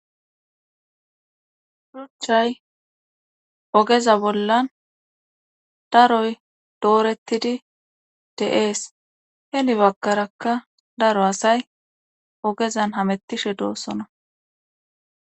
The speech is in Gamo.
Shuchay ogeza bollan daroy doorettidi de'ees heli bagkarakka daro asay ogezan hamettishe doosona.